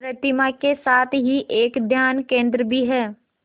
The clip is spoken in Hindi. प्रतिमा के साथ ही एक ध्यान केंद्र भी है